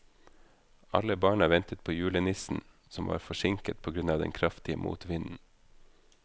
Alle barna ventet på julenissen, som var forsinket på grunn av den kraftige motvinden.